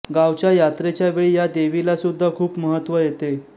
गावच्या यात्रेच्या वेळी या देवीलासुद्धा खूप महत्त्व येते